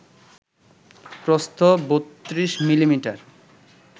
প্রস্থ ৩২ মিমি